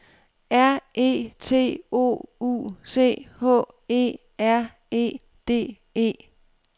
R E T O U C H E R E D E